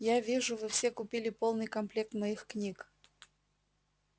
я вижу вы все купили полный комплект моих книг